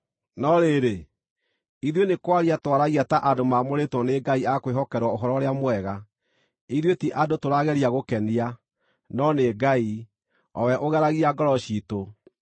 No rĩrĩ, ithuĩ nĩ kwaria twaragia ta andũ maamũrĩtwo nĩ Ngai a kwĩhokerwo Ũhoro-ũrĩa-Mwega. Ithuĩ ti andũ tũrageria gũkenia, no nĩ Ngai, o we ũgeragia ngoro ciitũ.